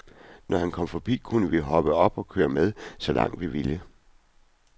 Når han kom forbi, kunne vi hoppe op og køre med så langt vi ville.